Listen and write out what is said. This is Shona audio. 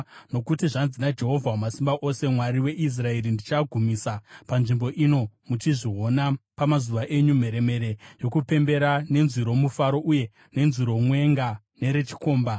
Nokuti zvanzi naJehovha Wamasimba Ose, Mwari weIsraeri: Ndichagumisa panzvimbo ino, muchizviona pamazuva enyu, mheremhere yokupembera nenzwi romufaro uye nenzwi romwenga nerechikomba.